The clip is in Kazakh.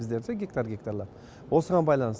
бізде ше гектар гектарлар осыған байланысты